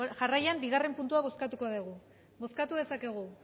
jarraian bigarren puntua bozkatuko dugu bozkatu dezakegu